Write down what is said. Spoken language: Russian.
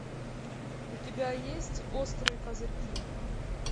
у тебя есть острые козырьки